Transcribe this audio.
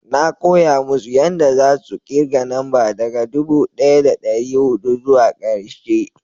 na koya musu yanda za su kirga namba daga dubu daya da dari hudu zuwa karshe